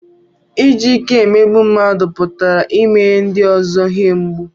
Iji ike emegbu mmadụ pụtara imenye ndị ọzọ ihe mgbu